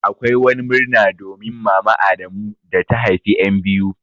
Akwai wani murna domin mama adamu da ta haifa en biyu.